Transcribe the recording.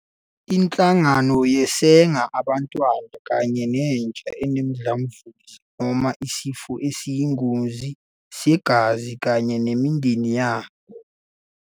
Inhlangano yeseka abantwana kanye nentsha enomdlavuza noma isifo esiyingozi segazi kanye nemindeni yabo.